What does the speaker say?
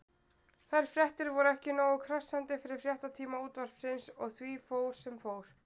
Þær fréttir voru ekki nógu krassandi fyrir fréttatíma Útvarpsins og því fór sem fór.